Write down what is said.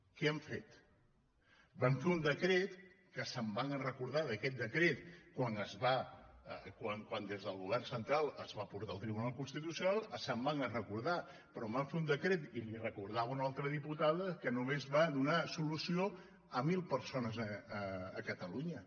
què han fet van fer un decret que se’n van recordar d’aquest decret quan des del govern central es va portar al tribunal constitucional se’n van recordar però van fer un decret i li ho recordava una altra diputada que només va donar solució a mil persones a catalunya